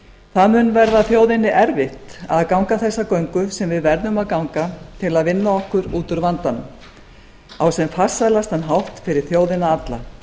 það mun verða þjóðinni erfitt að ganga þessa göngu sem við verðum að ganga til að vinna okkur út úr vandanum á sem farsælastan hátt fyrir þjóðina alla